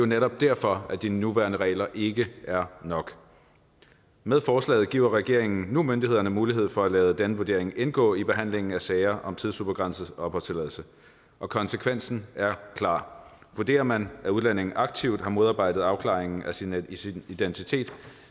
netop derfor at de nuværende regler ikke er nok med forslaget giver regeringen nu myndighederne mulighed for at lade denne vurdering indgå i behandlingen af sager om tidsubegrænset opholdstilladelse og konsekvensen er klar vurderer man at en udlænding aktivt har modarbejdet afklaringen af sin af sin identitet